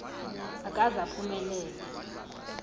akaze aphume lele